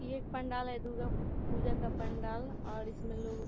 ये एक पंडाल है दुर्गा पूजा का पंडाल और इसमें लोग --